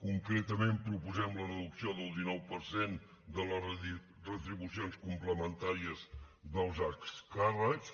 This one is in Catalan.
concretament proposem la reducció del dinou per cent de les retribucions complementàries dels alts càrrecs